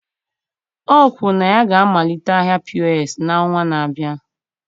O kwuru na ya ga-amalite ahịa POS n'ọnwa na-abịa